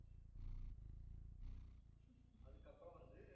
அதுக்கப்புறம் வந்து